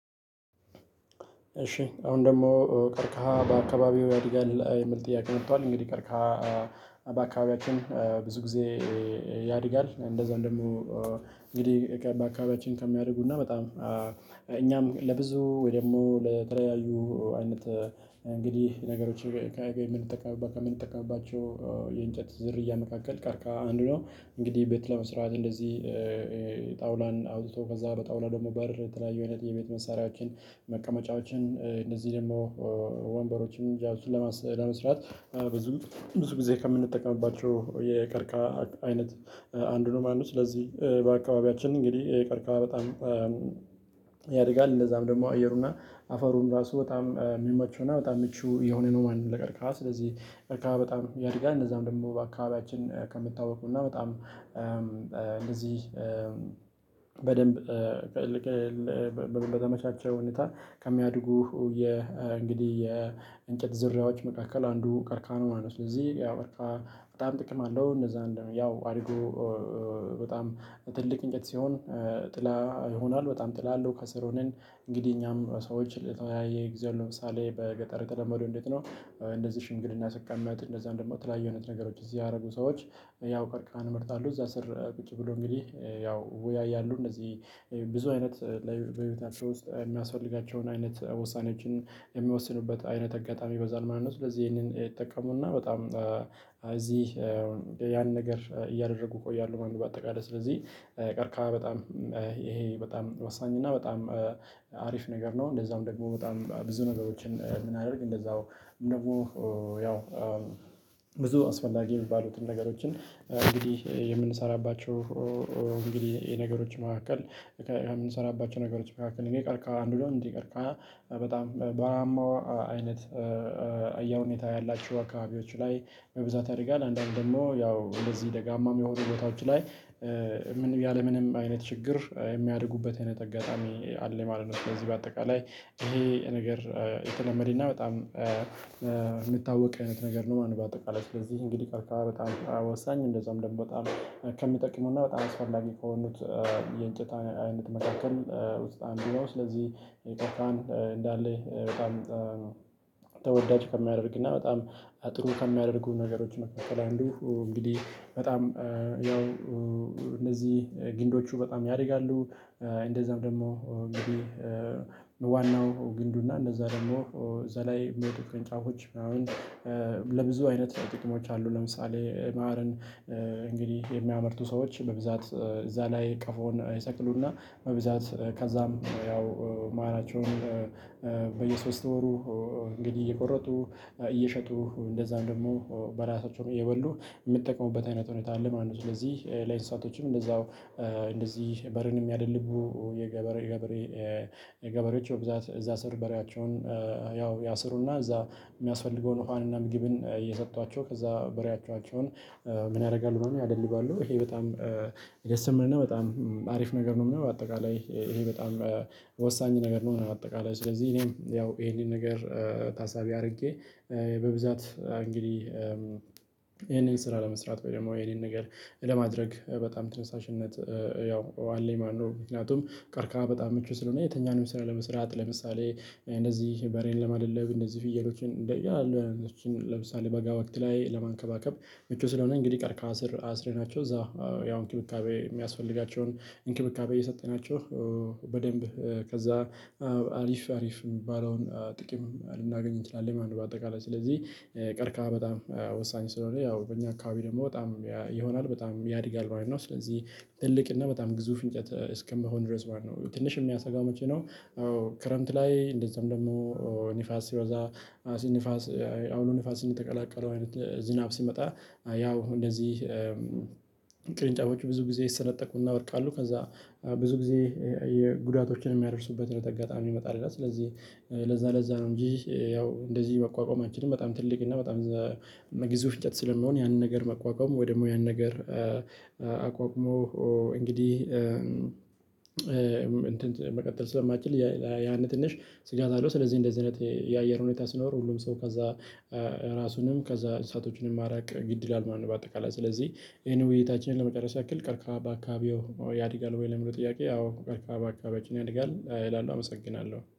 እሺ አሁን ደግሞ ቀርከሃ በአካባቢው ያድጋል የሚል ጥያቄ መጥቷል። እንግዲህ ቀርከሃ በአካባቢያችን ብዙ ጊዜ ያድጋል እንደዛ እንደምሆ እንግዲህ በአካባቢያችን ከሚያደጉ እና በጣም እኛም ለብዙ ወይ ደግሞ ለተለያዩ አይነት እንግዲህ ነገሮችን ከምንጠቀምባቸው የእንጨት ዝርያ መካከል ቀርከሃ አንዱ ነው። እንግዲህ ቤት ለመስራት እንደዚህ ጣውላን አውጥቶ ከዛ በጣውላ ደግሞ በር ተለያዩ አይነት የቤት መሳሪያችን መቀመጫዎችን እንደዚህ ደግሞ ወንበሮችን ያው ለመስራት ብዙ ብዙ ጊዜ ከምንጠቀምባቸው የቀርከሃ አይነት አንዱ ነው ማነው ስለዚህ በአካባቢያችን እንግዲህ ቀርከሃ በጣም ያድጋል እንደዛም ደግሞ አየሩና አፈሩን ራሱ በጣም የሚመቹና በጣም ምቹ የሆነ ነው ማንም ለቀርካህ ስለዚህ ቀርከሃ በጣም ያድጋል እነዛም ደግሞ በአካባቢያችን ከምታወቁና በጣም እንደዚህ በደንብ በተመቻቸው ሁኔታ ከሚያድጉ የ እንግዲህ የእንጨት ዝርያዎች መካከል አንዱ ቀርከሃ ነው ማለት ነው። ስለዚህ ያው ቀርከሃ በጣም ጥቅም አለው። እንደዛ እንደምን ያው አድጎ በጣም ትልቅ እንጨት ሲሆን ጥላ ይሆናል በጣም ጥላ ይሆናል ከስር ሆነን እንግዲህ እኛም ሰዎች ለተወያየ ጊዜ ለምሳሌ በገጠር የለመዱ እንዴት ነው? እንደዚህ ሽምግልና ስቀመጥ እንደዛ እንደውም ተለያዩ አይነት ነገሮች እዚህ ያደረጉ ሰዎች ያው ቀርከሃን እመርጣለሁ እዛ ስር ቁጭ ብሎ እንግዲህ ያው ወያይ ያሉ እነዚህ ብዙ አይነት ላይ በቤታቸው ውስጥ የሚያስፈልጋቸውን አይነት ወሳኔዎችን የሚወስኑበት አይነት አጋጣሚ ይበዛል ማለት ነው። ስለዚህ ይሄንን ይጠቀሙና በጣም እዚህ ያን ነገር እያደረጉ እቆያለሁ ማን በአጠቃላይ ስለዚህ ቀርከሃ በጣም ይሄ በጣም ወሳኝ እና በጣም አሪፍ ነገር ነው። እንደዛዉም ደግሞ በጣም ብዙ ነገሮችን የምናደርግ እንደዛው ንጉህ ያው ብዙ አስፈላጊ የሚባሉትን ነገሮችን እንግዲህ የምንሰራባቸው እንግዲህ የነገሮች መካከል የምንሰራባቸው ነገሮች መካከል እኔ ቀርከሃ አንዱ ነው። እንዴ ቀርከሃ በጣም በውሀማው አይነት አያ ሁኔታ ያላችሁ አካባቢዎች ላይ በብዛት ያደርጋል አንዳንድ ደግሞ ያው እነዚህ ደጋማ የሚሆኑ ቦታዎች ላይ ያለምንም አይነት ችግር የሚያድጉበት አይነት አጋጣሚ አለ። ማለት ነው ስለዚህ በአጠቃላይ ይሄ ነገር የተለመደና በጣም የምታወቅ አይነት ነገር ነው። ማን በአጠቃላይ ስለዚህ እንግዲህ ቀርከሃ በጣም ወሳኝ እንደዛም ደግሞ በጣም ከሚጠቅመው እና በጣም አስፈላጊ ከሆኑት የእንጨት አይነት መካከል ውስጥ አንዱ ነው። ስለዚህ ቀርከሃን እንዳለ በጣም ከሚያደርግና በጣም ጥሩ ከሚያደርጉ ነገሮች መካከል አንዱ እንግዲህ በጣም ያው እነዚህ ግንዶቹ በጣም ያድጋሉ እንደዛም ደግሞ እንግዲህ ዋናው ግንዱና እነዛ ደግሞ እዛ ላይ ሚወጡ ቅርንጫፎች ምናምን ለብዙ አይነት ጥቅሞች አሉ። ለምሳሌ ማርን እንግዲህ የሚያመርቱ ሰዎች በብዛት እዛ ላይ ቀፎን ይሰቅሉና በብዛት ከዛም ያው ማራቸውን በየሶስት ወሩ እንግዲህ እየቆረጡ እየሸጡ እንደዛም ደግሞ በራሳቸውም እየበሉ የሚጠቀሙበት አይነት ሁኔታ አለ ማለት ነው። ስለዚህ ለኢንሳቶችም እንደዛው እንደዚህ በሬን ሚያደልቡ የገበሬ ገበሬ የገበሬዎች በብዛት እዛ ስር በሬያቸውን ያው ያስሩና እዛ የሚያስፈልገውን ውሃንና ምግብን እየሰጧቸው ከዛ በሬያቻቸውን ምን ያደርጋሉ ማለት ነው? ያደልባሉ ይሄ በጣም የተሰመነና በጣም አሪፍ ነገር ነው። አጠቃላይ ይሄ በጣም ይሄ ወሳኝ ነገር ነው። አጠቃላይ ስለዚህ እኔም ያው ይሄንን ነገር ታሳቢ አድርጌ በብዛት እንግዲህ ይሄንን ስራ ለመስራት ወይ ደግሞ የኔን ነገር ለማድረግ በጣም ትንሳሽነት ያው አለኝ ማለት ነው። ምክንያቱም ቀርከሃ በጣም ምቹ ስለሆነ የትኛውንም ስራ ለመስራት ለምሳሌ እንደዚህ በሬን ለማደለብ እንደዚህ ፍየሎችን እንደያሉ ለምሳሌ በጋ ወቅት ላይ ለማንከባከብ ምቹ ስለሆነ እንግዲህ ቀርከሃ አስረናቸው እዛ ያው እንክብካቤ የሚያስፈልጋቸውን እንክብካቤ እየሰጠናቸው በደንብ ከዛ አሪፍ አሪፍ የሚባለውን ጥቂት ልናገኝ እንችላለን። ማን በአጠቃላይ ስለዚህ ቀርከሃ በጣም ወሳኝ ስለሆነ ያው በእኛ አካባቢ ደግሞ በጣም ይሆናል በጣም ያድጋል ማለት ነው። ስለዚህ ትልቅ እና በጣም ግዙፍ እንጨት እስከመሆን ድረስ ማለት ነው። ትንሽ የሚያሰጋው መቼ ነው? ክረምት ላይ እንደዛም ደግሞ ንፋስ ሲበዛ ንፋስ አውሎ ንፋስ የተቀላቀለው አይነት ዝናብ ሲመጣ ያው እንደዚህ ቅርንጫፎቹ ብዙ ጊዜ ይሰነጠቁና ይወድቃሉ ከዛ ብዙ ጊዜ የጉዳቶችን የሚያደርሱበት ነገር አጋጣሚ ይመጣል። እና ስለዚህ ለዛ ለዛ ነው እንጂ ያው እንደዚህ መቋቋም አንችልም። በጣም ትልቅ እና በጣም እዛ ግዙፍ እንጨት ስለሚሆን ያንን ነገር መቋቋም ወይ ደግሞ ያንን ነገር አቋቁሞ እንግዲህ መቀጠል ስለማይችል ያንን ትንሽ ስጋት አለው። ስለዚህ እንደዚህ አይነት የአየር ሁኔታ ሲኖር ሁሉም ሰው ከዛ ራሱንም ከዛ እሳቶቹንም ማራቅ ግድ ይላል። ማን በአጠቃላይ ስለዚህ ይሄን ውይይታችንን ለመቀረጽ ያክል ቀርከሃ በአካባቢዎ ያድጋል ወይ ለሚለው ጥያቄ አዎ ቀርክሃ ባካባቢያችን ያድጋል እላለሁ አመሰግናለሁ